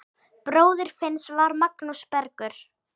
Bróðir Finns var Magnús Bergur.